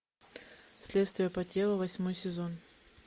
следствие по телу восьмой сезон